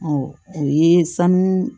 o ye sanu